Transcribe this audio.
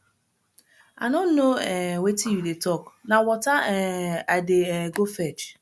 i no know um wetin you dey talk na water um i dey um go fetch